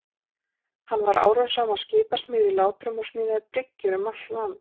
Hann var árum saman skipasmiður í Látrum og smíðaði bryggjur um allt land.